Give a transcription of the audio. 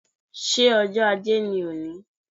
Ṣé ọjọ́ Ajé ni òní?